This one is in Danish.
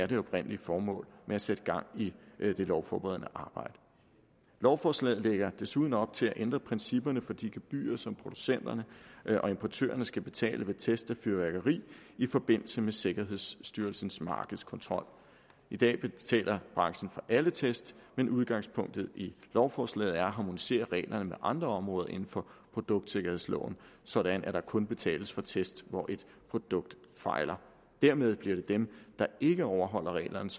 det oprindelige formål med at sætte gang i det lovforberedende arbejde lovforslaget lægger desuden op til at ændre principperne for de gebyrer som producenterne og importørerne skal betale ved test af fyrværkeri i forbindelse med sikkerhedsstyrelsens markedskontrol i dag betaler branchen for alle test men udgangspunktet i lovforslaget er at harmonisere reglerne med andre områder inden for produktsikkerhedsloven sådan at der kun betales for test hvor et produkt fejler dermed bliver det dem der ikke overholder reglerne